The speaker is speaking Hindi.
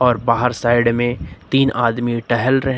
और बाहर साइड में तीन आदमी टहल रहे--